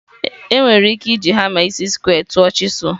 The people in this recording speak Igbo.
Enwere m ike iji hama isi square tụọ chisel?